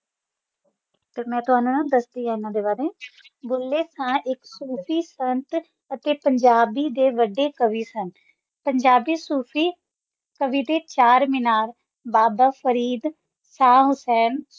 ਕੁਛ ਮੈਂ ਵੇ ਦਸ ਊਨਾ ਦਾ ਬਾਰੇ ਵਿਚ ਜਿੰਨੀ ਥਾਂ ਸੂਫੀ ਪੰਜਾਬ ਡੇ ਵੱਡੇ ਕਾਵੇ ਸਨ ਪੰਜਾਬੀ ਸੂਫੀ ਦਾ ਚਾਰ ਮੀਨਾਰ ਬਾਬਾ ਫ਼ਰੀਦ ਸ਼ਾਹ ਹੁਸੈਨ